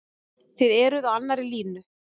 Þið eruð á annarri línu?